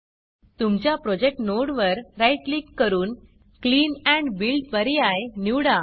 तुमच्या प्रोजेक्ट नोडवर right click करून क्लीन एंड Buildक्लीन अँड बिल्ड पर्याय निवडा